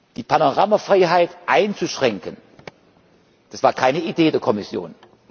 Die Panoramafreiheit einzuschränken, das war keine Idee der Kommission.